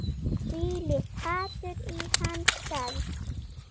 Þvílíkt hatur í hans garð